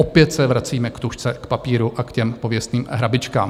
Opět se vracíme k tužce, k papíru a k těm pověstným hrabičkám.